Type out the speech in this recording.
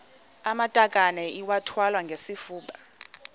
amatakane iwathwale ngesifuba